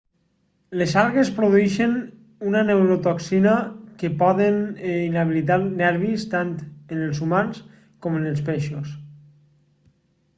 les algues produeixen una neurotoxina que poden inhabilitar nervis tant en els humans com en els peixos